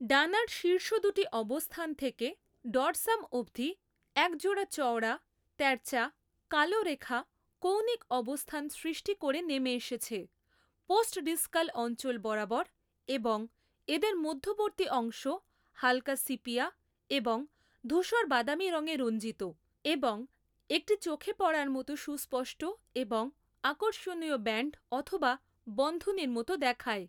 ডানার শীর্ষ দুটি অবস্থান থেকে ডর্সাম অবধি একজোড়া চওড়া তেরচা কালো রেখা কৌণিক অবস্থান সৃষ্টি করে নেমে এসেছে পোস্টডিসকাল অঞ্চল বরাবর এবং এদের মধ্যবর্তী অংশ হালকা সিপিয়া এবং ধূসর বাদামী রঙে রঞ্জিত এবং একটি চোখে পড়ার মতো সুস্পষ্ট এবং আর্কষনীয় ব্যান্ড অথবা বন্ধনীর মত দেখায়।